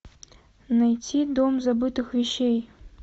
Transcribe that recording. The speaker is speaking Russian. найти дом забытых вещей